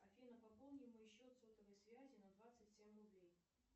афина пополни мой счет сотовой связи на двадцать семь рублей